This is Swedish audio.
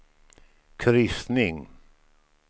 kryssning